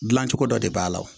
Dilancogo dɔ de b'a la